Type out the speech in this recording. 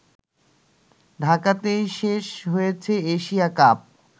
ঢাকাতেই শেষ হয়েছে এশিয়া কাপ